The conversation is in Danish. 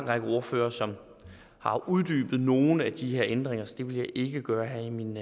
række ordførere som har uddybet nogle af de her ændringer så det vil jeg ikke gøre her i min